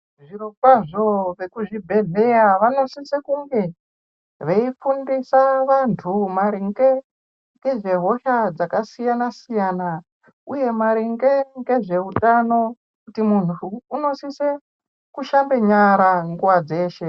Zvirokwazvo vekuzvibhedhleya vanosise kunge ,veifundisa vantu maringe ngezvehosha dzakasiyana-siyana uye maringe ngezveutano, kuti muntu unosise, kushambe nyara nguwa dzeshe.